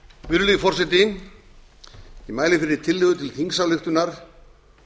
virðulegi forseti ég mæli fyrir tillögu til þingsályktunar